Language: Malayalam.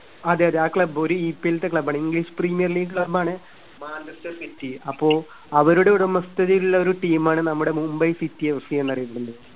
അതെയതെ. ആ club ഒരു ഇപിഎൽത്തെ club ണ്. English premier league Manchester City. അപ്പോ അവരുടെ ഉടമസ്ഥതയിലുള്ള ഒരു team മാണ് നമ്മുടെ മുംബൈ സിറ്റി എഫ് സി എന്നറിയപ്പെടുന്നത്.